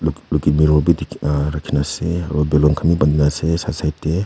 Looking mirro bi dik aaah rakhi na ase aro balloon khan bi bandi na ase side side te.